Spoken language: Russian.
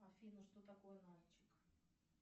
афина что такое нальчик